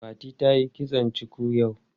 Fatima tayi kitson cuku yau.